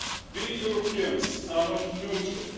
We Europeans are not neutral.